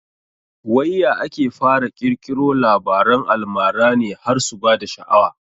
Wai ya ake fara ƙirkiro Labaran almara ne har su bada sha'awa